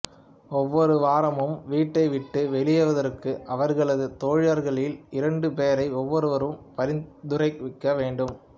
ஒவ்வொரு வாரமும் வீட்டை விட்டு வெளியேறுவதற்கு அவர்களது தோழர்களில் இரண்டு பேரை ஒவ்வொருவரும் பரிந்துரைக்க வேண்டும்